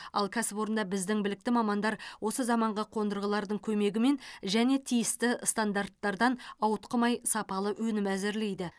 ал кәсіпорында біздің білікті мамандар осы заманғы қондырғылардың көмегімен және тиісті стандарттардан ауытқымай сапалы өнім әзірлейді